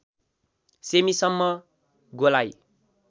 सेमिसम्म गोलाइ